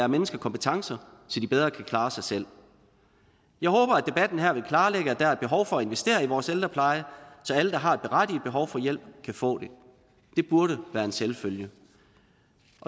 mennesker kompetencer så de bedre kan klare sig selv jeg håber at debatten her vil klarlægge at der er behov for at investere i vores ældrepleje så alle der har et berettiget behov for hjælp kan få det det burde være en selvfølge